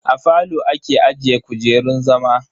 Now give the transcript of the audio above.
A falo ake ajiye kujerun zama.